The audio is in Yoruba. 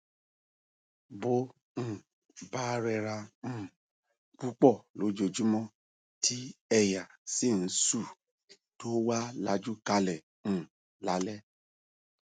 bó um bá rẹra um púpọ lọjúmọmọ tí èèyà sì ń sù tó wá lajú kalẹ um lálẹ